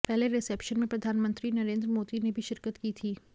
पहले रिसेप्शन में प्रधानमंत्री नरेंद्र मोदी ने भी शिरकत की थी